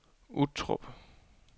Uttrup